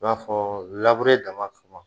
I b'a fɔ labure dama suwan